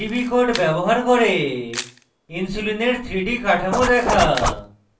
pdb code ব্যবহার করে insulin 3d কাঠামো দেখা